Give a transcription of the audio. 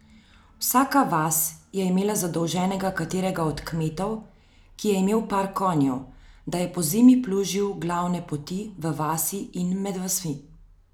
Vsaka vas je imela zadolženega katerega od kmetov, ki je imel par konjev, da je pozimi plužil glavne poti v vasi in med vasmi.